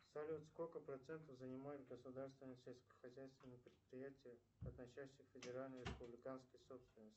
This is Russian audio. салют сколько процентов занимают государственные сельскохозяйственные предприятия относящиеся к федеральной и республиканской собственности